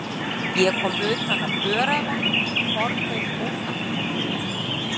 Ég kom utan af öræfunum, formlaus óskapnaður.